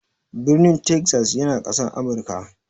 Birnin Texas yana Ƙasar Amurka.